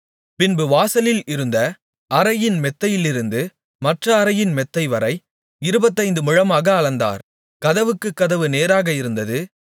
பின்பு வாசலில் இருந்த அறையின் மெத்தையிலிருந்து மற்ற அறையின் மெத்தைவரை இருபத்தைந்து முழமாக அளந்தார் கதவுக்குக் கதவு நேராக இருந்தது